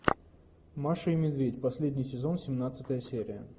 маша и медведь последний сезон семнадцатая серия